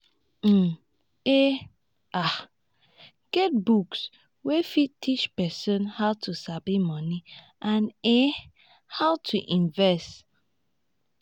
um e um get books wey fit teach person how to sabi money and um how to invest